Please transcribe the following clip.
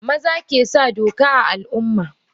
Maza kesa doka a Al umma.